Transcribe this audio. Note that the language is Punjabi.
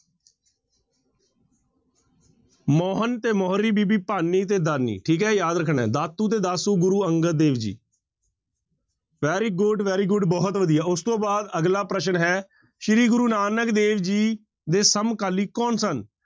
ਮੋਹਨ ਤੇ ਮੋਹਰੀ, ਬੀਬੀ ਭਾਨੀ ਤੇ ਦਾਨੀ ਠੀਕ ਹੈ ਯਾਦ ਰੱਖਣਾ ਹੈ, ਦਾਤੂ ਤੇ Dasu Guru Angad Dev ji very good, very good ਬਹੁਤ ਵਧੀਆ ਉਸ ਤੋਂ ਬਾਅਦ ਅਗਲਾ ਪ੍ਰਸ਼ਨ ਹੈ, ਸ੍ਰੀ ਗੁਰੂ ਨਾਨਕ ਦੇਵ ਜੀ ਦੇ ਸਮਕਾਲੀ ਕੌਣ ਸਨ?